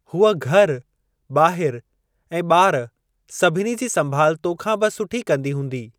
हूअ घर, ॿाहिरि ऐं ॿार सभिनी जी संभाल तोखां बि सुठी कंदी हूंदी।